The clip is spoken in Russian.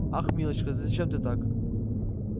ах милочка зачем ты так